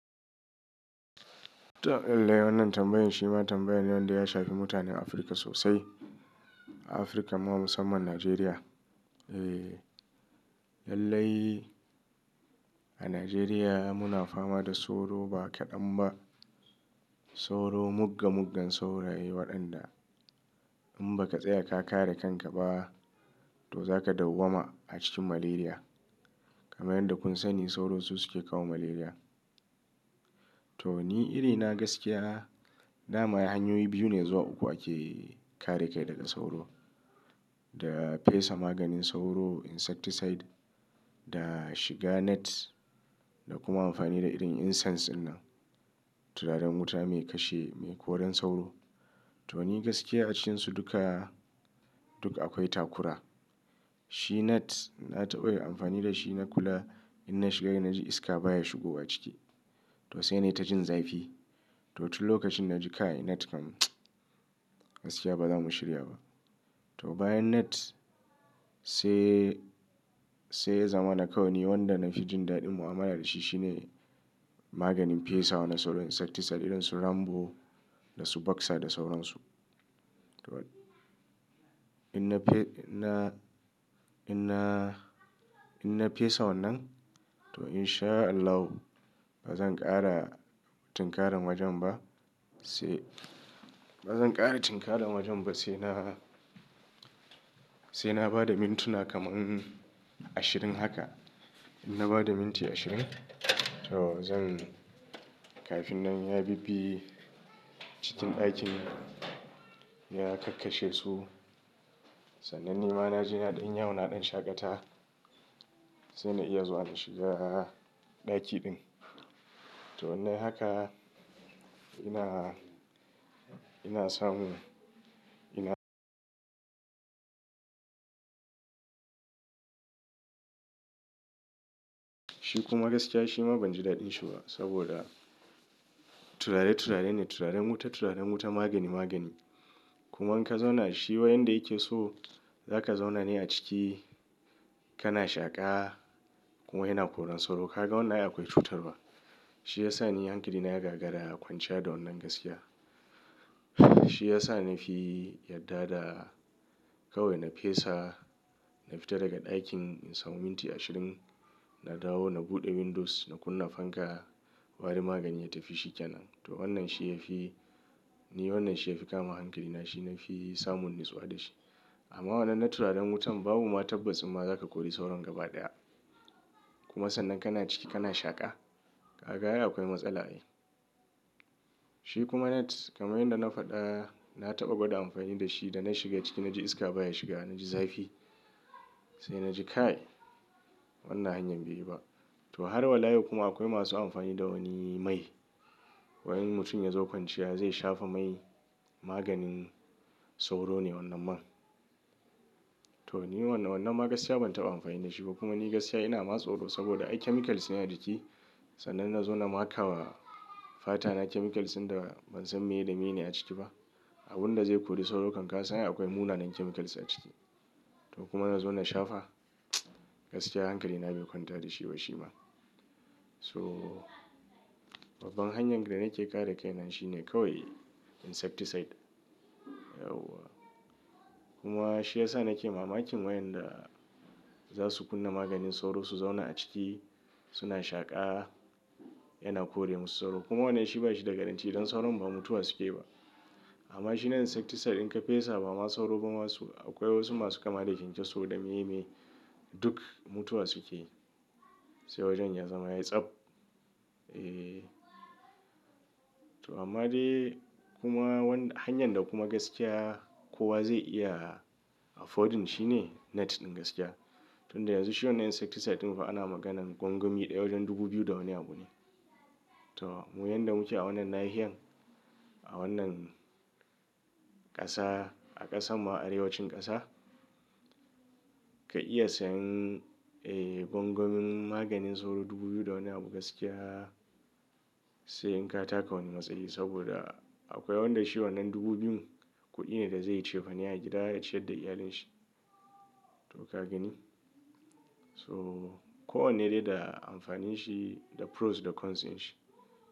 To, lallai wannan tambayin shi ma tambayin ne wanda ya shafi mutanen Afirka sosai, a Afirka ma musamman Najeriya. Eh, lallai a Najeriya muna fama da sauro ba kaɗan ba. Sauro mugga-muggan sauraye waɗanda in baka tsaya ka kare kanka ba to zaka dawwama a cikin malaria. Kamar yadda kun sani sauro su suke kawo malaria. To ni iri na gaskiya, dama hanyoyi biyu ne zuwa uku ake kare kai daga sauro, da fesa maganin sauro insecticide, da shiga net da kuma amfani da irin incense dinnan, turaren wuta mai kashe mai koran sauro. To ni gaskiya a cikinsu duk duka akwai takura. Shi net na taɓa yi amfani da shi na kula, in na shiga yayi na ji iska baya shigowa ciki. To sai na yi ta jin zafi. To wani lokacin na ji kai net kam gaskiya ba za mu shirya ba. To bayan net sai, sai zamani kawai wanda na fi jin daɗin mu'amala da shi shine maganin fesa wa na sauro insecticide irin su Rambo da su Baxa da sauran su. To in na fe, in na, in na fesa wannan to in sha Allahu ba zan ƙara tinkaran wajen ba sai, ba zan ƙara tinkaran wajen ba sai na, sai na ba da mintuna kaman ashirin haka. In na ba da minti ashirin to zan kafin nan ya bibbi cikin ɗakin ya kakkashe su. Sannan ni ma na je naɗin yawu naɗin shaƙata sai na iya zuwa na shiga ɗaki din. To wannan haka ina, ina samu, ina. Shi kuma gaskiya shi ma ban ji daɗin shi ba saboda turare turarene, turaren wuta turaren wuta magani magani. Kuma in ka zauna shi wayanda yake so za ka zauna ne a ciki kana shaƙa kuma yana koran sauro. Ka ga wannan ai akwai cutarwa. Shi ya sa ni hankali na ya gagara a kwanciya da wannan gaskiya. Shi ya sa na fi yarda da kawai na fesa, na fita daga ɗakin in samu minti ashirin, na dawo na buɗe windows na kunna fanka warin maganin ya tafi shi kenan. To wannan shi ya fi, ni wannan shi ya fi kama hankali na shi na fi samun natsuwa da shi. Amma wannan na turaren wutan babu ma tabbaci ma za ta kori sauran gaba ɗaya. Kuma sannan kana ciki kana shaƙa. Ka ga ai akwai matsala ne. Shi kuma net kamar yadda na faɗa na taɓa gwada amfani da shi da na shiga ciki na ji iska baya shiga na ji zafi. Sai na ji kai wannan hanyar ba yi ba. To har wa layin kuma akwai masu amfani da wani mai. Waɗansu mutum ya zo kwanciya zai shafa mai maganin sauro ne wannan man. To ni wannan wannan ma gaskiya ban taɓa amfani da shi ba kuma ni gaskiya ina ma tsoro saboda ai chemicals ne a ciki. Sannan na zauna maka wa fata na chemicals ɗin da ban san me da mene a ciki ba. Abun da zai kori sauro kan ka sani akwai munanan chemicals a ciki. To kuma na zauna shafa gaskiya hankali na bai kwanta da shi ba shi ma. So babban hanyar da nake ƙare kai nan shi ne kawai insecticide. Kuma shi ya sa nake mamaki wayanda za su kunna maganin sauro su zauna a ciki suna shaƙa yana kore musu sauro. Kuma wannan shi ba shi da garanti domin sauron ba mutuwa suke yi ba. Amma shi na insecticide in ka fesa ba ma sauro ba masu akwai wasu masu kama da kyankyaso da me me duk mutuwa suke yi. Sai wajen ya zama yatsab. Eh. To amma dai kuma wanda hanyar da kuma gaskiya kowa zai iya affording shine net ɗin gaskiya. Tun da yanzu shi wannan insecticide ɗin fa ana maganan gwangwami ɗaya wajen dubu biyu da wani abu ne. To mu wayanda muke a wannan nahiya a wannan ƙasa a ƙasan ma arewacin ƙasa ka iya sayan eh gwangwamin maganin sauro dubu biyu da wani abu gaskiya sai in ka taka wani matsayi saboda akwai wanda shi wannan dubu biyun kuɗi ne da zai yi cefani a gida ya ciyar da iyalin shi. To ka gani? So kowanne dai da amfanin shi da pros da cons ɗin shi.